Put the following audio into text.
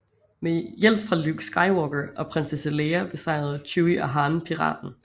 Med hjælp fra Luke Skywalker og Prinsesse Leia besejrede Chewie og Han piraten